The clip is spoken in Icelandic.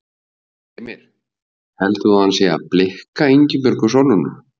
Heimir: Heldur þú að hann sé að blikka Ingibjörgu Sólrúnu?